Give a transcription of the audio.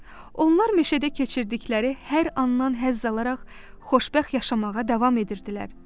Onlar meşədə keçirdikləri hər anından həzz alaraq xoşbəxt yaşamağa davam edirdilər.